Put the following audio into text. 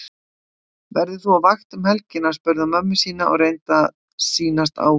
Verður þú á vakt um helgina? spurði hann mömmu sína og reyndi að sýnast áhugalaus.